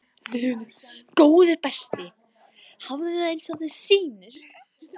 Góði besti, hafðu það eins og þér sýnist